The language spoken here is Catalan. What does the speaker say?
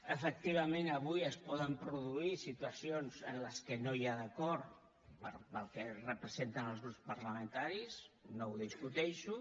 efectivament avui es poden produir situacions en les que no hi ha acord pel que representen els grups parlamentaris no ho discuteixo